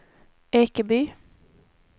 Ekeby